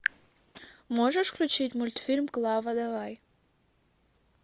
можешь включить мультфильм клава давай